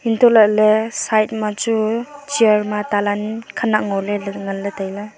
untoh lahley side machu chair ma talan khenak ngoley ley nganley tailey.